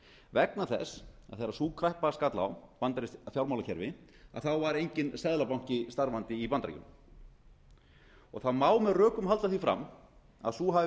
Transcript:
vegna þess að þegar sú kreppa skall á bandarískt fjármálakerfi þá var enginn seðlabanki starfandi í bandaríkjunum það má með rökum halda því fram að sú hafi